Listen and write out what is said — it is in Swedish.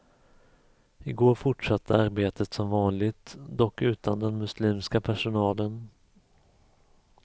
I går fortsatte arbetet som vanligt, dock utan den muslimska personalen.